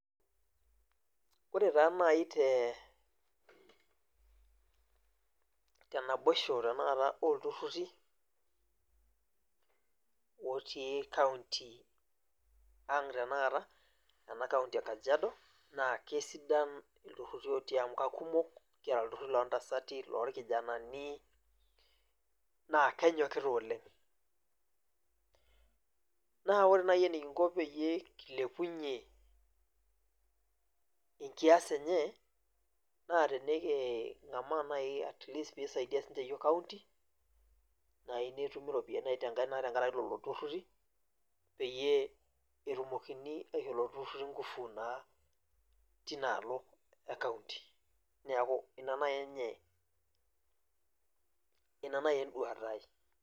Ore taa nai te tenaboishi oltururi otii kaunti aang tanakata kaunti e kajiado na kesidai amu kiata lturururi kumok kiata lturururi lontasati, lorkijanani na kenyokita oleng na ore enikingo nai pekilepunye nkias enye na tenekimaa nai peisaidia yiok county nai netumi ropiyiani naitengeai tenkaraki lolo tururi peitumoki aisho Lolo tururi nkufu na tinaalo e kaunti neaku ina nai enduata aai